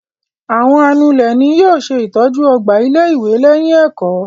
Àwọn anulẹ̀ ni yóò ṣe ìtọ́jú ọgbà ilé-ìwé lẹ́yìn ẹ̀kọ́.